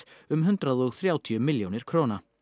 um hundrað og þrjátíu milljónir króna